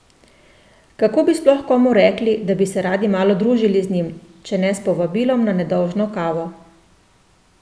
Kako bi sploh komu rekli, da bi se radi malo družili z njim, če ne s povabilom na nedolžno kavo?